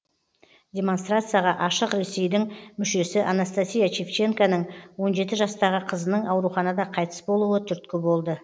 демонстрацияға ашық ресейдің мүшесі анастасия шевченконың он жеті жастағы қызының ауруханада қайтыс болуы түрткі болды